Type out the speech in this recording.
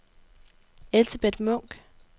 Elsebeth Munk